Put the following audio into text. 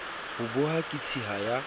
ho boha ke tshiya ya